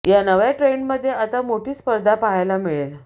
या नव्या ट्रेंडमध्ये आता मोठी स्पर्धा पाहायला मिळेल